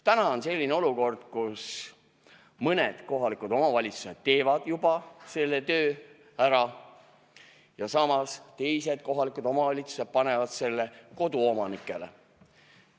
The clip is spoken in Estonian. Täna on selline olukord, et mõni kohalik omavalitsus teeb juba selle töö ära ja samas teine kohalik omavalitsus paneb selle koduomanikele.